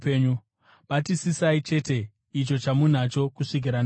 Batisisai chete icho chamunacho kusvikira ndauya.